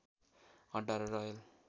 अड्डा र रयल